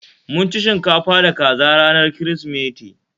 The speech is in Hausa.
Mun ci shinkafa da kaza ranar Kirsimeti